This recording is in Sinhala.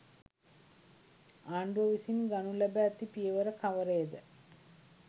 ආණ්ඩුව විසින් ගනු ලැබ ඇති පියවර කවරේද